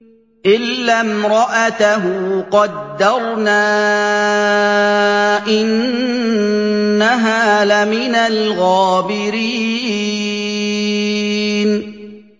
إِلَّا امْرَأَتَهُ قَدَّرْنَا ۙ إِنَّهَا لَمِنَ الْغَابِرِينَ